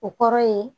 O kɔrɔ ye